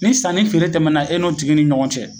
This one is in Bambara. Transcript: Ni sanni feere tɛmɛna e n'o tigi ni ɲɔgɔn cɛ